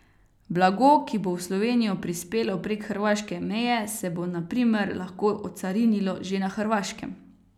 Blago, ki bo v Slovenijo prispelo prek hrvaške meje, se bo na primer lahko ocarinilo že na Hrvaškem.